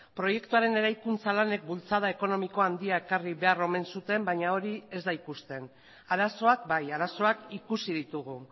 proiektuaren eraikuntza lanek bultzada ekonomiko handia ekarri behar omen zuten baina hori ez da ikusten arazoak bai arazoak ikusi ditugu